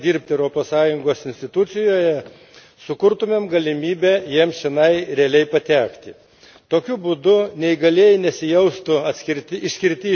Jei didesni balai, būtų skiriami neįgaliesiems, kurie nori dirbti Europos Sąjungos institucijoje, sukurtume galimybę jiems čionai realiai patekti.